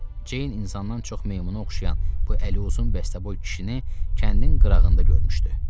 Jane insandan çox meymuna oxşayan bu əli uzun bəstəboy kişini kəndin qırağında görmüşdü.